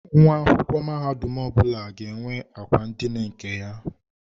Nwa akwụkwọ mahadum ọbụla ga-enwe akwa ndina nke ya.